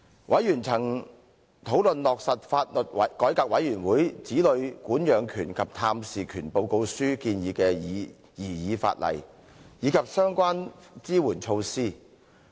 委員曾討論落實法律改革委員會《子女管養權及探視權報告書》建議的擬議法例，以及相關支援措施。